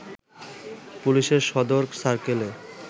পুলিশের সদর সার্কেলের